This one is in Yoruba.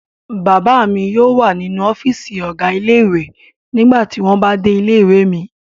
Bàbá mi yóò wà nínú ọ́fíísì ọ̀gá ilé-ìwé nígbà tí wọ́n bá dé ilé-ìwé mi.